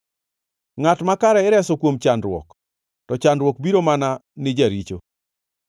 Ngʼat makare ireso kuom chandruok, to chandruok biro mana ni jaricho.